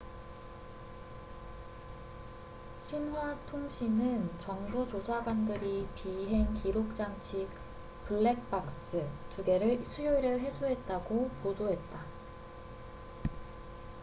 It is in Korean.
신화xinhua통신은 정부 조사관들이 비행기록 장치 '블랙박스' 2개를 수요일에 회수했다고 보도했다